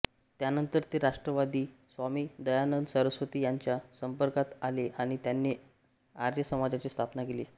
त्यानंतर ते राष्ट्रवादी स्वामी दयानंद सरस्वती यांच्या संपर्कात आले आणि त्यांनी आर्य समाजाची स्थापना केली